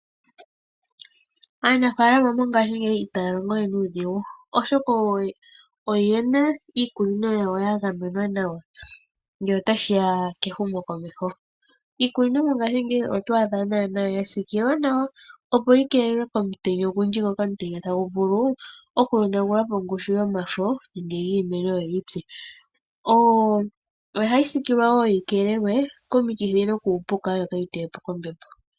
Aanafaalama mongaashingeyi itaya longo we nuudhigu oshoka oyena iikunino yawo ya gamenwa nawa ngele otadhi ya kehumo komeho. Iikunino mongaashingeyi oto a dha yasiikilwa nawa opo yi keelelwe komutenya ogundji ngoka omutenya tagu vulu oku yonagula po ongushu yomafo giimeno yimene yoyi tse, ohayi siikililwa woo opo yi gamenwe komikithi nokuupuka yokaayi tewepo koombepo.